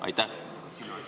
Aitäh!